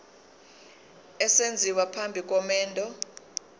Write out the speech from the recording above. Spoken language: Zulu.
esenziwa phambi komendo